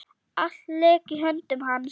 Allt lék í höndum hans.